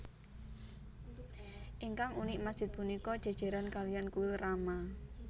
Ingkang unik masjid punika jéjéran kaliyan kuil rama